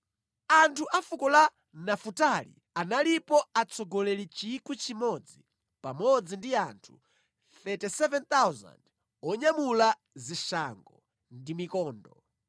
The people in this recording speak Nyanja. Anthu a fuko la Nafutali, analipo atsogoleri 1,000 pamodzi ndi anthu 37,000 onyamula zishango ndi mikondo;